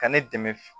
Ka ne dɛmɛ